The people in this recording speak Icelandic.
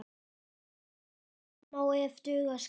Betur má ef duga skal!